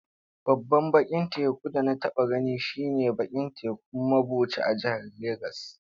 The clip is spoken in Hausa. Babban bakin teku da na taba gani shi ne a bakin tekun mabuchi a jihar Legas.